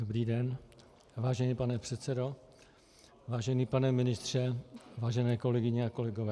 Dobrý den, vážený pane předsedo, vážený pane ministře, vážené kolegyně a kolegové.